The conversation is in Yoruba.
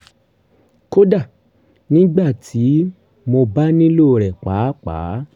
kódà nígbà tí mo bá nílò rẹ̀ pàápàá